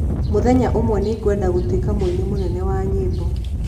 Mũthenya ũmwe nĩ ngwenda gũtuĩka mũini mũnene wa nyĩmbo.